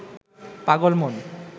পাগল মন